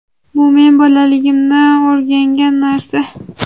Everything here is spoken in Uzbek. bu men bolaligimdan o‘rgangan narsa.